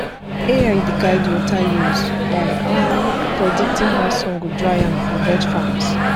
ai dey guide water use by predicting how sun go dry am for veg farms